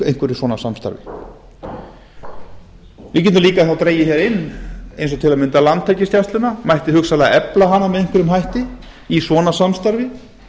einhverju svona samstarfi við getum líka þá dregið hér inn eins og á m landhelgisgæsluna mætti hugsanlega efla hana með einhverjum hætti í svona samstarfi